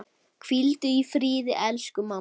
Hvíldu í friði elsku mamma.